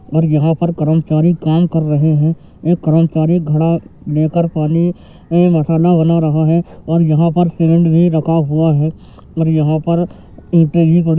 और यहॉँ पर कर्मचारी काम कर रहै। एक कर्मचारी घड़ा लेकर पानी में मसाला बना रहा है और यहा पर सीमेंट भी रखा हुआ है और यहाँ पर ईंटे भी पड़ी --